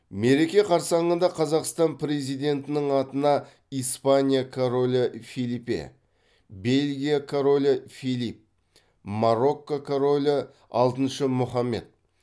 мереке қарсаңында қазақстан президентінің атына испания королі фелипе бельгия королі филипп марокко королі алтыншы мұхаммед